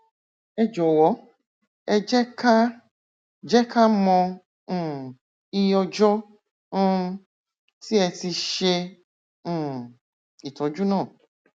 ẹ jọwọ ẹ jẹ ká jẹ ká mọ um iye ọjọ um tí ẹ ti ṣe um ìtọjú náà